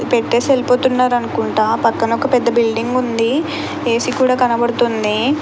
పెట్టేసి వెలిపోతున్నారు అనుకుంట పక్కన ఒక పెద్ద బిల్డింగ్ ఉంది ఏసీ కూడా కనపడుతుంది.